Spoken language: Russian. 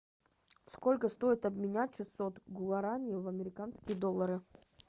сколько стоит обменять шестьсот гуараней в американские доллары